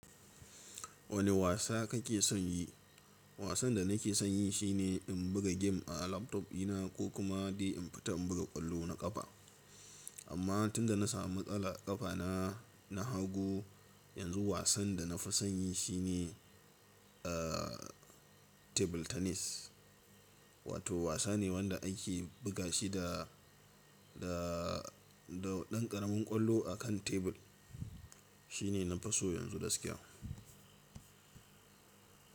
Wane wasa kake son yi? Wasan da nake son yi shine in buga game a laptop dina ko kuma dai in fita in buga ƙwallo na ƙafa. Amma tunda na samu matsala ƙafana na hagu, yanzu wasan da na fi son yi shine a table tennis. Wato wasa ne wanda ake buga shi da, da, da ɗan ƙaramin ƙwallo a kan tebur. Shi ne na fi so yanzu gaskiya.